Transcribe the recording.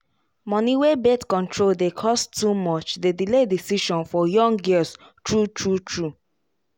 money wey birth control dey cost too much dey delay decision for young girls true true true